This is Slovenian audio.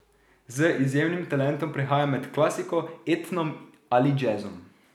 Z izjemnim talentom prehaja med klasiko, etnom ali džezom.